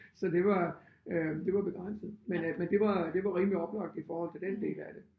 Så det var øh det var begrænset men øh men det var det var rimelig oplagt i forhold til den del af det